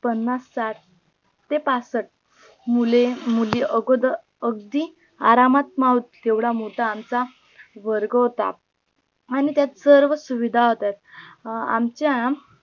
पन्नास साठ ते पासष्ट मुले मुली अगोदर अगदी आरामात मावतील येवढा मोठा आमचा वर्ग होता आणी त्यात सर्व सुविधा होत्या आमच्या